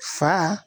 Fa